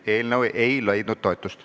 Eelnõu ei leidnud toetust.